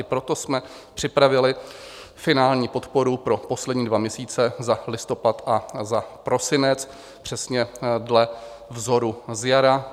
I proto jsme připravili finální podporu pro poslední dva měsíce, za listopad a za prosinec, přesně dle vzoru z jara.